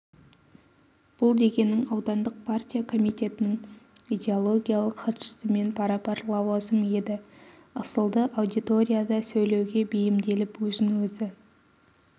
бұл дегенің аудандық партия комитетінің идеологиялық хатшысымен пара-пар лауазым еді ысылды аудиторияда сөйлеуге бейімделіп өзін өзі